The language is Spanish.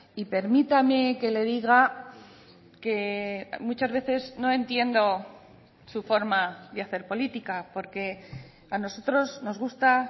y permítame que le diga que muchas veces no entiendo su forma de hacer política porque a nosotros nos gusta